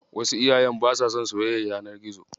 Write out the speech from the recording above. Wasu iyayen basa son soyayyar yanar gizo.